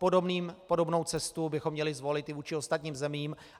Podobnou cestu bychom měli zvolit i vůči ostatním zemím.